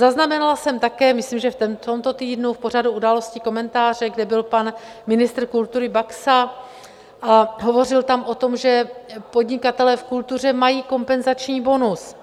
Zaznamenala jsem také, myslím, že v tomto týdnu v pořadu Události, komentáře, kde byl pan ministr kultury Baxa a hovořil tam o tom, že podnikatelé v kultuře mají kompenzační bonus.